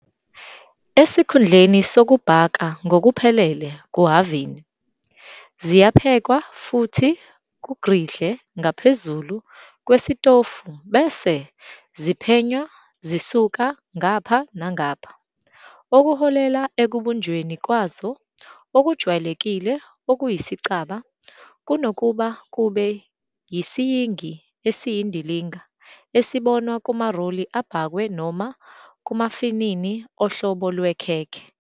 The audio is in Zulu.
Esikhundleni sokubhaka ngokuphelele kuhhavini, ziyaphekwa futhi ku-griddle ngaphezulu kwesitofu bese ziphenywa zisuka ngapha nangapha, okuholela ekubunjweni kwazo okujwayelekile okuyisicaba kunokuba kube yisiyingi esiyindilinga esibonwa kumaroli abhakwe noma kumafinini ohlobo lwekhekhe.